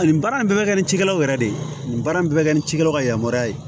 Ani baara in bɛɛ bɛ kɛ ni cikɛlaw yɛrɛ de ye nin baara in bɛɛ bɛ kɛ ni cikɛlaw ka yamaruya ye